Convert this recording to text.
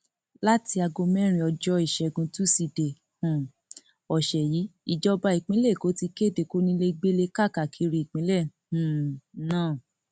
láti aago mẹrin ọjọ ìṣẹgun tusidee um ọsẹ yìí ìjọba ìpínlẹ èkó ti kéde kónílégbélé káàkiri ìpínlẹ um náà